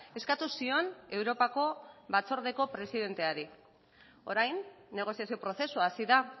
eskatu zion europako batzordeko presidenteari orain negoziazio prozesua hasi da